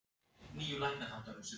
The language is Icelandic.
Ég hrökk við þegar hún sagði þetta.